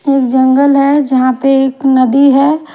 और जंगल है जहां पे एक नदी है।